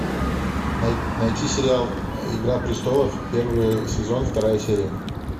найти сериал игра престолов первый сезон вторая серия